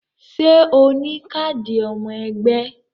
Ṣé o ní káàdì ọmọ ẹgbẹ́